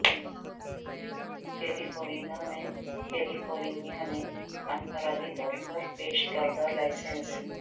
کیلی فورنیا میں California میں انفرادی طور پر پیش کردہ لائسنس